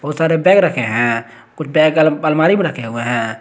सारे बैग रखे है कुछ बैग अलमारी में रखे हुए है।